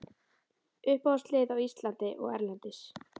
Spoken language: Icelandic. Uppáhaldslið á Íslandi og erlendis?